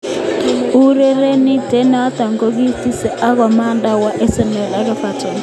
Urerenindet noto kokikitesie ak amanet kowa Arsenal ak Everton.